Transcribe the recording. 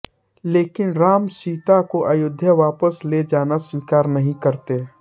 लेकिन राम सीता को अयोध्या वापस ले जाना स्वीकार नहीं करते